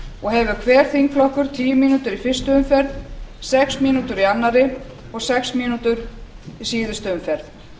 og hefur hver þingflokkur tíu mínútur í fyrstu umferð sex mínútur í öðru og sex í síðustu umferð